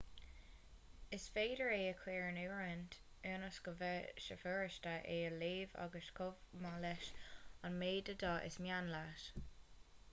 is féidir é a chuir in oiriúint ionas go mbeidh sé furasta é a léamh agus chomh maith leis an méid de dhath is mian leat